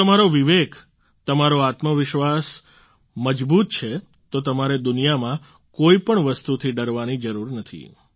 જો તમારો વિવેક તમારો આત્મવિશ્વાસ મજબૂત છે તો તમારે દુનિયામાં કોઈપણ વસ્તુથી ડરવાની જરૂર નથી